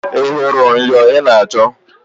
Ị hụrụ myọ ị na-achọ?